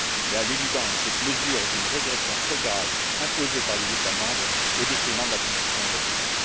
Mais à l'évidence, cette mesure est une régression très grave imposée par les États membres au détriment de la construction européenne.